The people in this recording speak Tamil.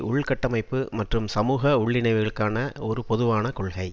உள்கட்டமைப்பு மற்றும் சமூக உள்ளிணைவுக்கான ஒரு பொதுவான கொள்கை